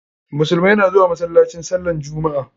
Musulumai na zuwa masallaci sallan jummu'a.